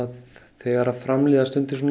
þegar fram líða stundir